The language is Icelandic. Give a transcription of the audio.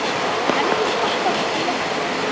Henni finnst gott að blotna í framan.